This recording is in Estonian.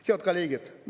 Head kolleegid!